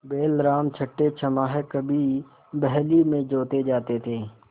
बैलराम छठेछमाहे कभी बहली में जोते जाते थे